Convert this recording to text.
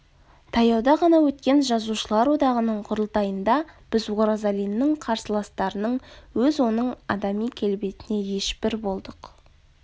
таяуда ғана өткен жазушылар одағының құрылтайында біз оразалиннің қарсыластарының өз оның адами келбетіне ешбір болдық